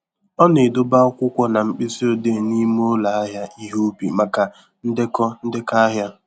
Ọ na-edobe akwụkwọ na mkpịsị odee n'ime ụlọ ahịa ihe ubi maka ndekọ ndekọ ahịa